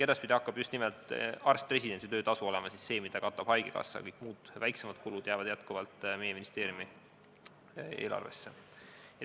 Edaspidi hakkab just nimelt arst-residendi töötasu olema see, mida katab haigekassa, kõik muud, väiksemad kulud jäävad endiselt meie ministeeriumi eelarvesse.